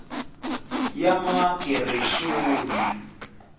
yamagereshoni